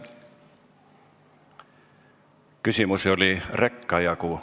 Küsimusi oli reka jagu.